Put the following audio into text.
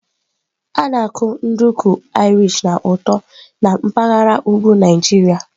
A na-akụ nduku ma Irish na ụtọ na mpaghara ugwu Naijiria.